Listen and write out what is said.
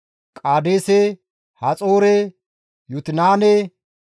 Qaadeese, Haxoore, Yutinaane,